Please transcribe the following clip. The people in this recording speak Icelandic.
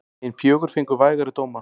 Hin fjögur fengu vægari dóma.